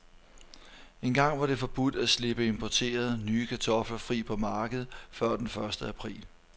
Engang var det forbudt at slippe importerede, nye kartofler fri på markedet før den første april.